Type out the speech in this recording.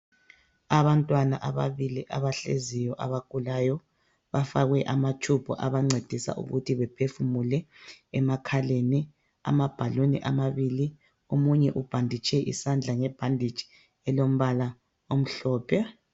Abantwana ababili abahleziyo abagulayo bafakwe amatshubhu abancedisa ukuthi bephefumule emakhaleni. Amabhaluni amabili. Omunye ubhanditshe isandla ngebhanditshi elombala omhlophe.